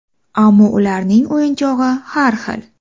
Ammo ularning o‘yinchog‘i har xil.